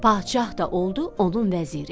Padşah da oldu onun vəziri.